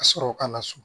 Ka sɔrɔ ka na so